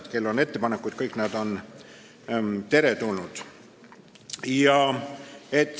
Kui kellelgi on ettepanekuid, siis kõik need on teretulnud.